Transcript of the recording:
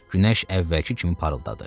Günəş əvvəlki kimi parıldadı.